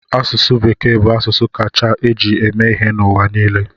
Asụsụ Bekee bụ asụsụ a kacha eji eme ihe n'ụwa niile.